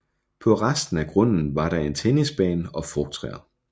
På resten af grunden var der en tennisbane og frugttræer